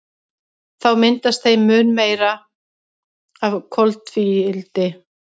Þá myndast þeim mun meira af koltvíildi.